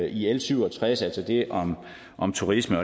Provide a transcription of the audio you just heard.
i l syv og tres altså det om turisme